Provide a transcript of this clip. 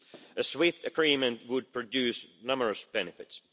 A swift agreement would produce numerous benefits.